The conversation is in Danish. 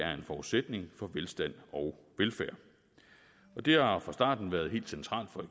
er en forudsætning for velstand og velfærd og det har fra starten været helt centralt for